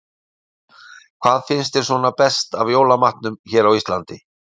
Erla: Hvað finnst þér svona best af jólamatnum hérna á Íslandi?